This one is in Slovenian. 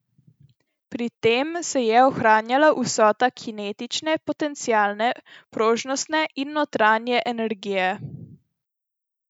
Pri tem se je ohranjala vsota kinetične, potencialne, prožnostne in notranje energije.